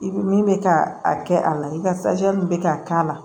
I ko min bɛ ka a kɛ a la i ka bɛ ka k'a la